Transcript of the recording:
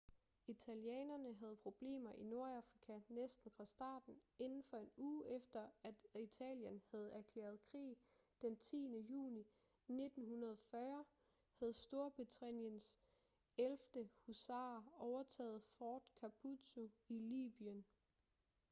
italienerne havde problemer i nordafrika næsten fra starten inden for en uge efter at italien havde erklæret krig d 10. juni 1940 havde storbritanniens 11. husarer overtaget fort capuzzo i libyen